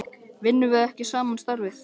Vinnum við ekki sama starfið?